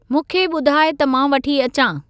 मूंखे ॿुधाइ त मां वठी अचां।